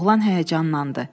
Oğlan həyəcanlandı.